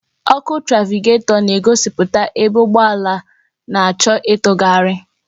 Ọkụ trafịgatọ na-egosipụta ebe ụgbọ na-achọ ịtụgharị.